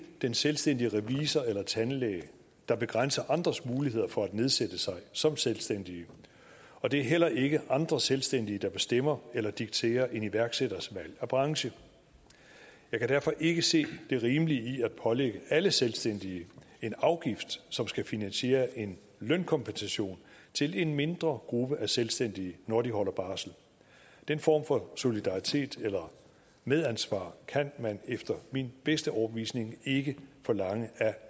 den selvstændige revisor eller tandlæge der begrænser andres muligheder for at nedsætte sig som selvstændig og det er heller ikke andre selvstændige der bestemmer eller dikterer en iværksætters valg af branche jeg kan derfor ikke se det rimelige i at pålægge alle selvstændige en afgift som skal finansiere en lønkompensation til en mindre gruppe af selvstændige når de holder barsel den form for solidaritet eller medansvar kan man efter min bedste overbevisning ikke forlange af